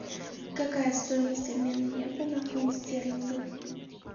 какая стоимость обмена евро на фунт стерлингов